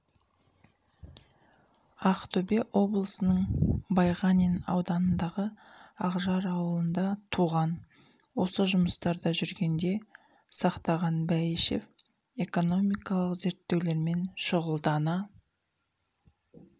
ақтөбе облысының байғанин ауданындағы ақжар ауылында туған осы жұмыстарда жүргенде сақтаған бәйішев экономикалық зерттеулермен шұғылдана